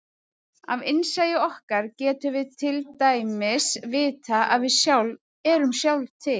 Af innsæi okkar getum við til dæmis vitað að við sjálf erum sjálf til.